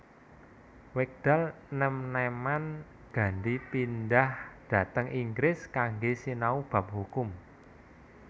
Wekdal nèm nèman Gandhi pindhah dhateng Inggris kanggé sinau bab hukum